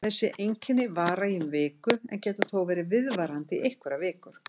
Þessi einkenni vara í um viku en geta þó verið viðvarandi í einhverjar vikur.